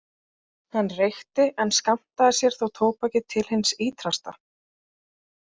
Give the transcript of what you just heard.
Hann reykti en skammtaði sér þó tóbakið til hins ítrasta.